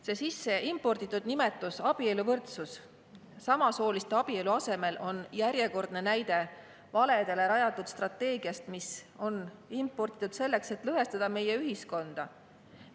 See imporditud nimetus "abieluvõrdsus" samasooliste abielu asemel on järjekordne näide valedele rajatud strateegia kohta, mis on imporditud selleks, et meie ühiskonda lõhestada.